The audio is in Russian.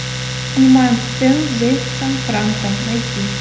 снимаем сцену с джеймсом франко найти